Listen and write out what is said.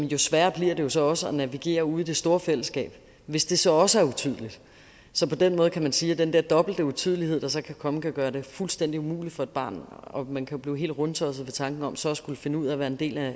jo sværere bliver det jo så også at navigere ude i det store fællesskab hvis det så også er utydeligt så på den måde kan man sige at den der dobbelte utydelighed der så kan komme kan gøre det fuldstændig umuligt for et barn og man kan jo blive helt rundtosset ved tanken om så at skulle finde ud af at være en del af